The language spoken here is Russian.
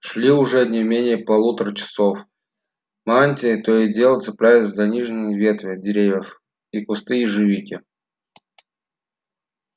шли уже не менее полутора часов мантии то и дело цеплялись за нижние ветви деревьев и кусты ежевики